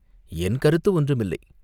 "என் கருத்து ஒன்றுமில்லை.